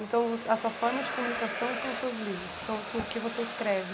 Então voc, a sua forma de comunicação são os seus livros, são o que que você escreve.